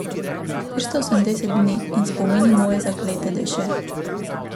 Štiristo osemdeset dni in spomini moje zaklete duše!